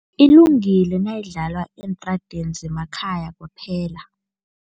Ilungile nayidlalwa eentradeni zemakhaya kwaphela.